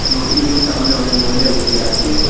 মূর্তিগুলির সামনে অনেক মহিলা বসে আছে।